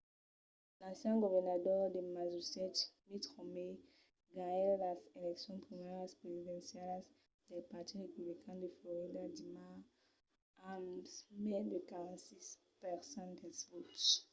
l’ancian governador de massachusetts mitt romney ganhèt las eleccions primàrias presidencialas del partit republican de florida dimars amb mai de 46 per cent dels votes